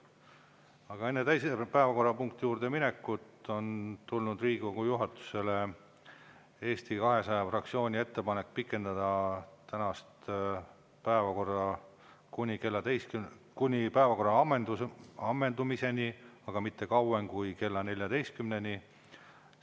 Aga enne teise päevakorrapunkti juurde minekut on tulnud Riigikogu juhatusele Eesti 200 fraktsiooni ettepanek pikendada tänast päevakorda kuni päevakorra ammendumiseni, aga mitte kauem kui kella 14-ni.